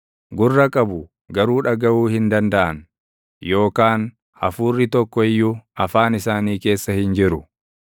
gurra qabu; garuu dhagaʼuu hin dandaʼan; yookaan hafuurri tokko iyyuu afaan isaanii keessa hin jiru.